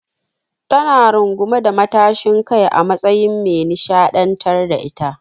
Ta na rungume da matashin kai a matsayin me nishaɗantar da ita.